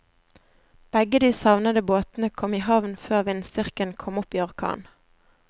Begge de savnede båtene kom i havn før vindstyrken kom opp i orkan.